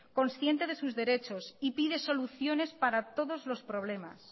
consciente de sus derechos y pide soluciones para todos los problemas